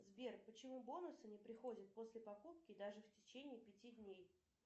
сбер почему бонусы не приходят после покупки даже в течение пяти дней